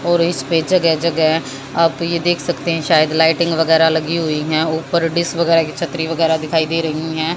और इसपे जगह जगह आप ये देख सकते हैं शायद लाइटिंग वगैरा लगी हुई है ऊपर डिस वगैरा की छतरी वगैरा दिखाई दे रही है।